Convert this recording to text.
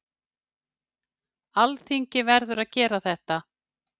Alþingi verður að gera þetta